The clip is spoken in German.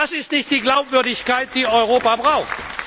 Das ist nicht die Glaubwürdigkeit, die Europa braucht.